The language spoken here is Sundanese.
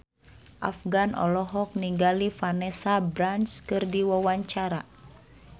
Afgan olohok ningali Vanessa Branch keur diwawancara